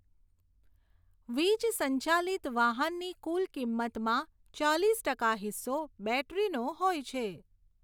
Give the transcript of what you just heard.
વીજ સંચાલિત વાહનની કુલ કિંમતમાં ચાલીસ ટકા હિસ્સો બૅટરીનો હોય છે.